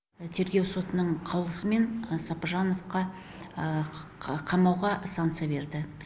тергеу сотының қаулысымен сопыжановқа қамауға санкция берді